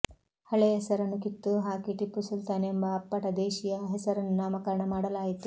ಹಳೆ ಹೆಸರನ್ನು ಕಿತ್ತು ಹಾಕಿ ಟಿಪ್ಪುಸುಲ್ತಾನ್ ಎಂಬ ಅಪ್ಪಟ ದೇಶೀಯ ಹೆಸರನ್ನು ನಾಮಕರಣ ಮಾಡಲಾಯಿತು